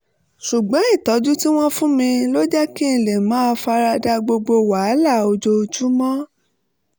ṣùgbọ́n ìtọ́jú tí wọ́n fún mi ló jẹ́ kí n lè máa fara da gbogbo àwọn wàhálà ojoojúmọ́